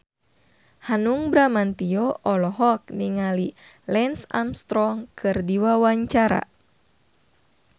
Hanung Bramantyo olohok ningali Lance Armstrong keur diwawancara